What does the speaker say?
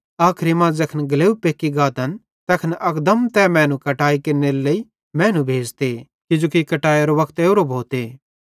आखरी मां ज़ैखन ग्लेव पेक्की गातन तैखन अकदम तै मैनू कटाई केरनेरे लेइ मैनू भेज़ते किजोकि कटाईरो वक्त ओरो भोते